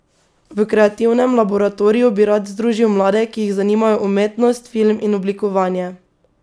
V kreativnem laboratoriju bi rad združil mlade, ki jih zanimajo umetnost, film in oblikovanje.